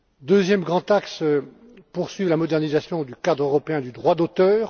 Deuxième grand axe poursuivre la modernisation du cadre européen du droit d'auteur.